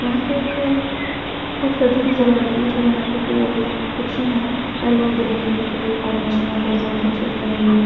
यहां पे एक बहुत गर्दी नजर आ रही है जो यहां पे अह जो रिक्शा हैं येलो ग्रीन कलर के कॉम्बीनेशन में बहुत सारे रिक्शे ठहरे हुए हैं।